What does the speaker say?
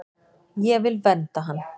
Ég vil vernda hann.